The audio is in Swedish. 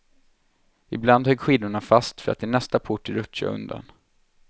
Ibland högg skidorna fast, för att i nästa port rutscha undan.